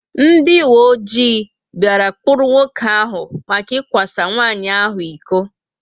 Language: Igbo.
Ndị uwe ojii bia kpụrụ nwoke áhù maka ikwa sa nwanyị ahụ ịkọ